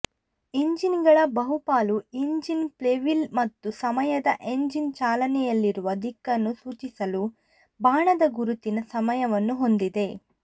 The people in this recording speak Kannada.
ಇಂಜಿನ್ಗಳ ಬಹುಪಾಲು ಇಂಜಿನ್ ಫ್ಲೈವ್ಹೀಲ್ ಮತ್ತು ಸಮಯದ ಎಂಜಿನ್ ಚಾಲನೆಯಲ್ಲಿರುವ ದಿಕ್ಕನ್ನು ಸೂಚಿಸಲು ಬಾಣದ ಗುರುತಿನ ಸಮಯವನ್ನು ಹೊಂದಿದೆ